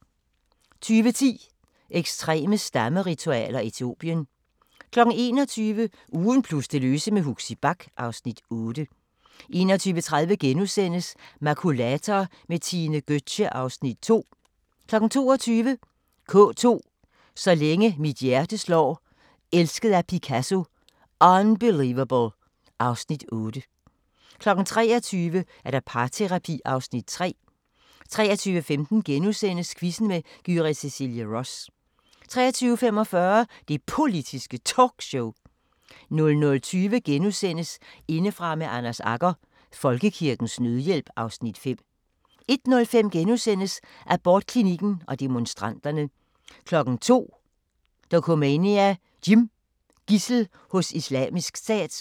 20:10: Ekstreme stammeritualer: Etiopien 21:00: Ugen plus det løse med Huxi Bach (Afs. 8) 21:30: Makulator med Tine Gøtzsche (Afs. 2)* 22:00: K2 – Så længe mit hjerte slår, Elsket af Picasso, Unbelievable (Afs. 8) 23:00: Parterapi (Afs. 3) 23:15: Quizzen med Gyrith Cecilie Ross * 23:45: Det Politiske Talkshow 00:20: Indefra med Anders Agger – Folkekirkens Nødhjælp (Afs. 5)* 01:05: Abortklinikken og demonstranterne * 02:00: Dokumania: Jim - Gidsel hos Islamisk Stat